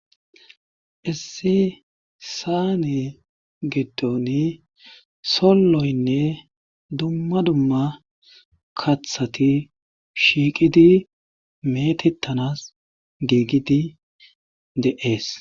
issi saane giddoni solloynne dumma dumma kathati shiiqidi meetettanas giigidi de'ees